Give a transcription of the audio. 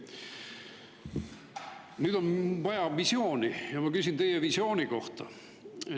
Nüüd on vaja visiooni ja ma küsin teie visiooni kohta.